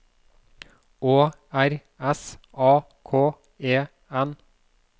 Å R S A K E N